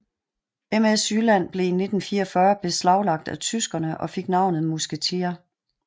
MS Jylland blev i 1944 beslaglagt af tyskerne og fik navnet Musketier